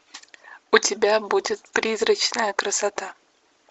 у тебя будет призрачная красота